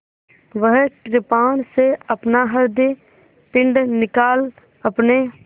वह कृपाण से अपना हृदयपिंड निकाल अपने